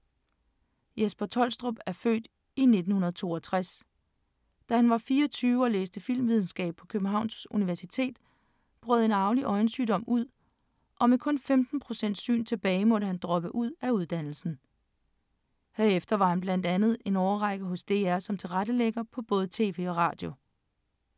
Jesper Troelstrup er født i 1962. Da han var 24 og læste filmvidenskab på Københavns universitet, brød en arvelig øjensygdom ud, og med kun 15 procent syn tilbage måtte han droppe ud af uddannelsen. Herefter var han blandt andet en årrække hos DR som tilrettelægger på både tv og radio.